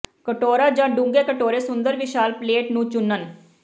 ਕਟੋਰਾ ਜ ਡੂੰਘੇ ਕਟੋਰੇ ਸੁੰਦਰ ਵਿਸ਼ਾਲ ਪਲੇਟ ਨੂੰ ਚੁਣਨ